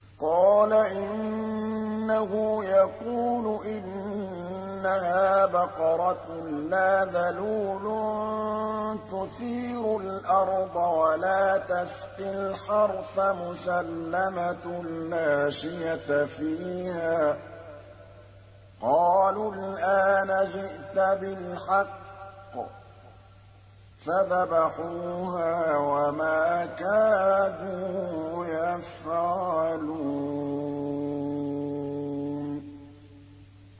قَالَ إِنَّهُ يَقُولُ إِنَّهَا بَقَرَةٌ لَّا ذَلُولٌ تُثِيرُ الْأَرْضَ وَلَا تَسْقِي الْحَرْثَ مُسَلَّمَةٌ لَّا شِيَةَ فِيهَا ۚ قَالُوا الْآنَ جِئْتَ بِالْحَقِّ ۚ فَذَبَحُوهَا وَمَا كَادُوا يَفْعَلُونَ